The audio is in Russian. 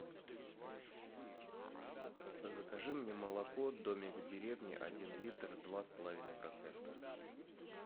закажи мне молоко домик в деревне один литр два с половиной процента